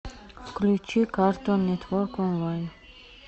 включи картун нетворк онлайн